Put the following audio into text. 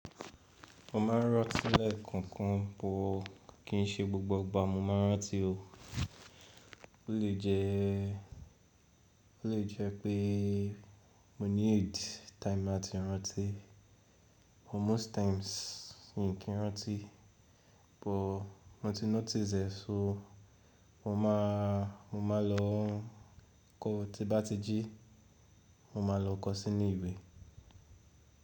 Mo máa ń rán tí lẹ̀ kankan bọ̀, kì í ṣe gbogbo ìgbà mo máa ń rán ti o. O lè jẹ́, o lè jẹ́ pé mo ní aid time láti rán ti. Most times n kì í rán ti, bọ̀ mo ti notice e, sọ mo máa, mo máa lọ kọ́, tí bá ti jí mo máa lọ kọ́ sí ní ìwé.